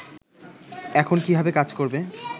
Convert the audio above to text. এখন কীভাবে কাজ করবে